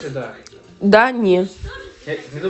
да не